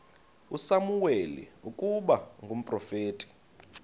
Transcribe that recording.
usamuweli ukuba ngumprofeti